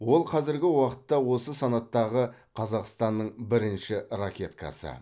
ол қазіргі уақытта осы санаттағы қазақстанның бірінші ракеткасы